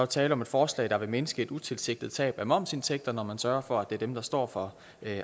tale om et forslag der vil mindske et utilsigtet tab af momsindtægter når man sørger for at det er dem der står for